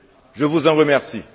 Je vous en remercie.